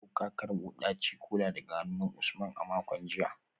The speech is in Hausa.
Ko ka karbo daci-kola daga hannun Usman a makon jiya?